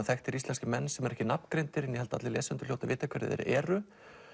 þekktir íslenskir menn sem ekki eru nafngreindir en ég held að lesendur hljóti að vita hverjir þeir eru